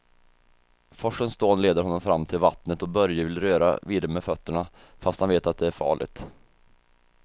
Forsens dån leder honom fram till vattnet och Börje vill röra vid det med fötterna, fast han vet att det är farligt.